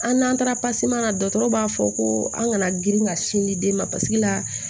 An n'an taara la dɔgɔtɔrɔw b'a fɔ ko an kana girin ka sin di den ma paseke la